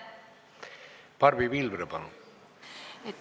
Barbi Pilvre, palun!